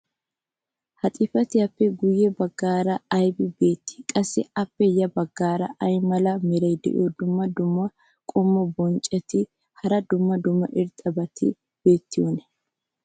ha xifatiyaappe guye bagaara aybi beetii? qassi appe ya bagaara ay mala meray diyo dumma dumma qommo bonccotinne hara dumma dumma irxxabati beetiyoonaa?